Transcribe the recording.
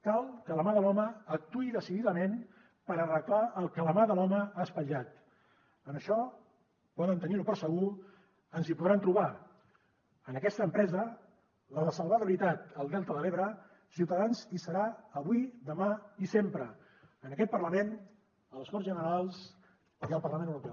cal que la mà de l’home actuï decididament per arreglar el que la mà de l’home ha espatllat en això poden tenir ho per segur ens hi podran trobar en aquesta empresa la de salvar de veritat el delta de l’ebre ciutadans hi serà avui demà i sempre en aquest parlament a les corts generals i al parlament europeu